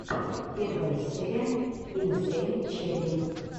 первая серия инсейн черри